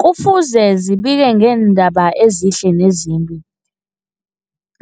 Kufuze zibike ngeendaba ezihle nezimbi,